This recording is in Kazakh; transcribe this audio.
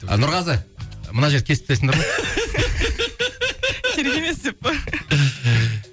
нұрғазы мына жерді кесіп тастайсыңдар ма керек емес деп пе